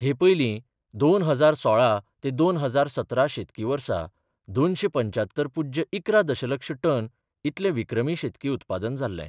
हे पयलीं दोन हजार सोळा ते दोन हजार सतरा शेतकी वर्सा दोनशे पंचात्तर पुज्य इकरा दशलक्ष टन इतले विक्रमी शेतकी उत्पादन जाल्ले.